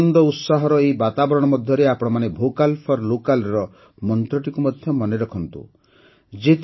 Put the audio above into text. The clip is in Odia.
ଆନନ୍ଦ ଓ ଉତ୍ସାହର ଏହି ବାତାବରଣ ମଧ୍ୟରେ ଆପଣମାନେ ଭୋକାଲ ଫୋର Localର ମନ୍ତ୍ରଟିକୁ ମଧ୍ୟ ମନେରଖିବେ ନିଶ୍ଚୟ